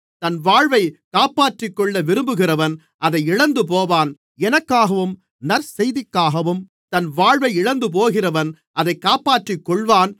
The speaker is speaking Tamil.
தன் வாழ்வைக் காப்பாற்றிக்கொள்ள விரும்புகிறவன் அதை இழந்துபோவான் எனக்காகவும் நற்செய்திக்காகவும் தன் வாழ்வை இழந்துபோகிறவன் அதைக் காப்பாற்றிக்கொள்ளுவான்